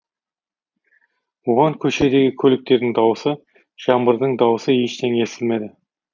оған көшедегі көліктердің дауысы жаңбырдың дауысы ештеңе естілмеді